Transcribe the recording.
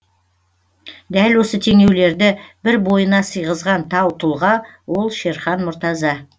дәл осы теңеулерді бір бойына сыйғызған тау тұлға ол шерхан мұртаза